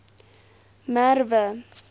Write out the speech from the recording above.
merwe